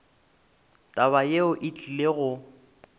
taba yeo e tlile go